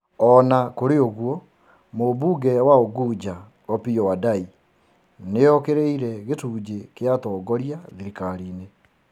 O na kũrĩ ũguo, Mũmbunge wa Ugunja Opiyo Wandayi, nĩ okĩrĩire gĩcunjĩ kĩa atongoria thirikari-inĩ,